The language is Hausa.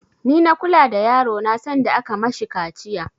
Ni na kula da yaro na sanda aka yi mashi kaciya